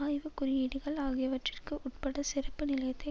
ஆய்வு குறியீடுகள் ஆகியவற்றிற்கு உட்பட சிறப்பு நிலையத்தை